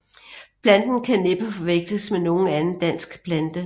Planten kan næppe forveksles med nogen anden dansk plante